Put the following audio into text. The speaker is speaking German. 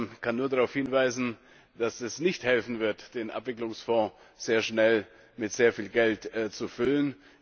Ich kann nur darauf hinweisen, dass es nicht helfen wird, den Abwicklungsfonds sehr schnell mit sehr viel Geld zu füllen.